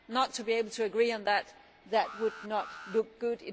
Not to be able to agree on that would not look good